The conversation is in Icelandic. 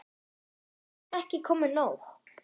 Er þetta ekki komið nóg?